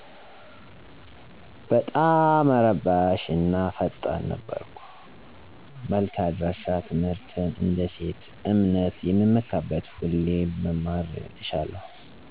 በጣመ እረባሽ እና ፈጣን ነበርኩ መልክ አድራሸ ትምህርትን እንደ እሴት /እምነት የምመካበት ሁሌም መማርን እሻለሁ።